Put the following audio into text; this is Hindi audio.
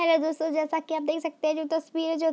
हेलो दोस्तों जैसा की आप देख सकते हैं जो तस्वीर है जो --